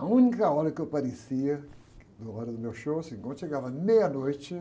A única hora que eu aparecia, na hora do meu show, assim, quando chegava meia-noite,